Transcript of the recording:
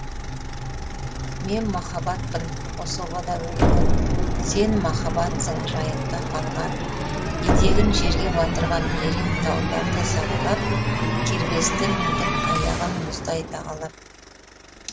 мен махаббатпын қособада өлген сен махаббатсың жайықта қалған етегін жерге батырған ерен тауларды сағалап кербесті міндім аяғын мұздай тағалап